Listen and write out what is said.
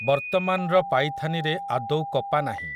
ବର୍ତ୍ତମାନର ପାଇଥାନିରେ ଆଦୌ କପା ନାହିଁ ।